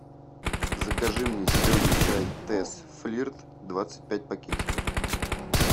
закажи мне зеленый чай тесс флирт двадцать пять пакетиков